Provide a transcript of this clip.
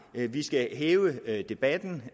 vi skal hæve debatten